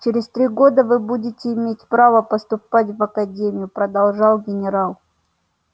через три года вы будете иметь право поступать в академию продолжал генерал